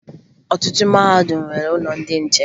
Ọtụtụ mahadum nwere ụlọ ndị nche